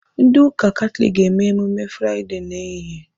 Ndị ụka Katọlik ga-emume Fraịdee a n'ehihie